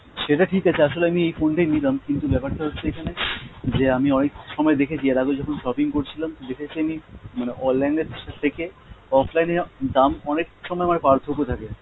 সেটা ঠিক আছে, আসলে আমি এই phone টাই নিলাম কিন্তু ব্যাপার টা হচ্ছে এখানে যে আমি অনেক সময় দেখেছি, আর আগেও যখন shopping করছিলাম দেখেছি আমি মানে online এর থেকে offline এ দাম অনেক সময় আবার পার্থক্য থাকে।